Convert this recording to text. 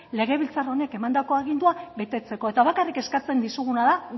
legebiltzar honek emandako agindua betetzeko eta bakarrik eskatzen dizuguna da